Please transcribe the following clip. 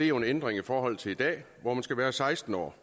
jo en ændring i forhold til i dag hvor man skal være seksten år